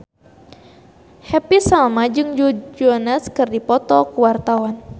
Happy Salma jeung Joe Jonas keur dipoto ku wartawan